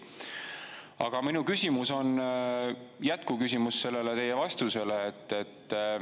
Aga minu küsimus on jätkuküsimus sellele teie vastusele.